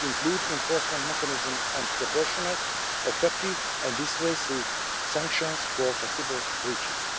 They include enforcement mechanisms and proportionate, effective and dissuasive sanctions for possible breaches.